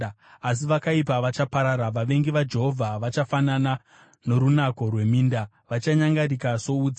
Asi vakaipa vachaparara: vavengi vaJehovha vachafanana norunako rweminda, vachanyangarika soutsi.